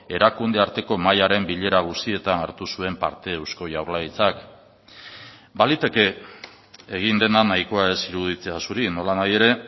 erakunde arteko mahaiaren bilera guztietan hartu zuen parte eusko jaurlaritzak baliteke egin dena nahikoa ez iruditzea zuri nolanahi ere